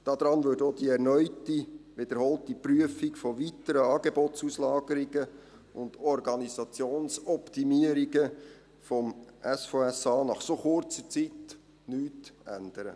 Daran würde auch die erneute, wiederholte Prüfung von weiteren Angebotsauslagerungen und Organisationsoptimierungen des SVSA nach so kurzer Zeit nichts ändern.